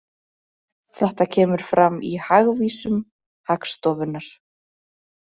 Þetta kemur fram í Hagvísum Hagstofunnar